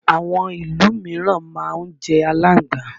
Àwọn ìlú míràn á máa jẹ alángbà.